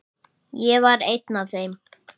Ég var ein af þeim.